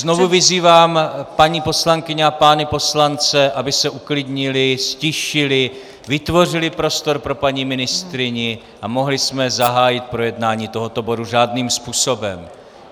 Znovu vyzývám paní poslankyně a pány poslance, aby se uklidnili, ztišili, vytvořili prostor pro paní ministryni a mohli jsme zahájit projednání tohoto bodu řádným způsobem.